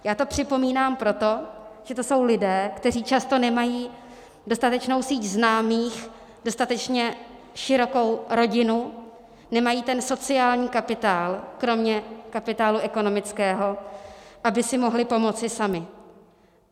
Já to připomínám proto, že to jsou lidé, kteří často nemají dostatečnou síť známých, dostatečně širokou rodinu, nemají ten sociální kapitál kromě kapitálu ekonomického, aby si mohli pomoci sami.